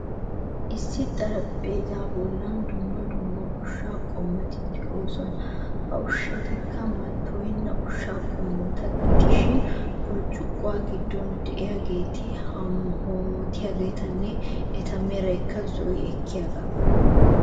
Issi xaraphpheezzaa bollan dumma dumma ushsha qommoti de'oosona. Ha ushshati mattoyenna ushsha qommota gidishin, burccuqquwa giddon de'iyaageeti hoommttiyageetanne eta meray zo'i ekkiyaaga.